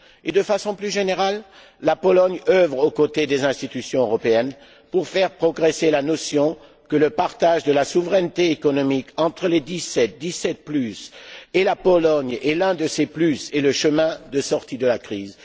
De façon plus générale, la Pologne œuvre aux côtés des institutions européennes pour faire progresser la notion selon laquelle le partage de la souveraineté économique entre les dix sept, les dix sept plus et la Pologne est un atout et le chemin de sortie de la crise.